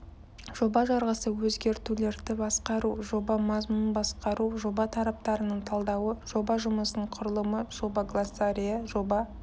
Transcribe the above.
жоба жарғысы өзгертулерді басқару жоба мазмұнын басқару жоба тараптарының талдауы жоба жұмысының құрылымы жоба глоссарийі жоба